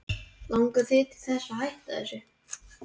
Langar þig til þess að hætta þessu?